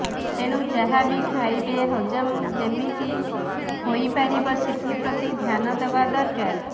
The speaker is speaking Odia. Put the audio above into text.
ତେଣୁ ଯାହା ବି ଖାଇବେ ହଜମ ଯେମିତି ହୋଇପାରିବ ସେଥିପ୍ରତି ଧ୍ୟାନ ରହିବା ଦରକାର